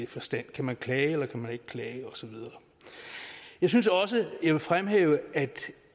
forstand kan man klage eller kan man ikke klage osv jeg synes også jeg vil fremhæve at